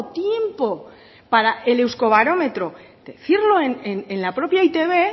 tiempo para el euskobarómetro decirlo en la propia e i te be